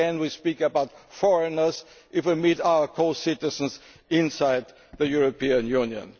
Again we speak about foreigners when we mean our co citizens inside the European